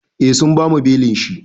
Eh sun bamu belin shi.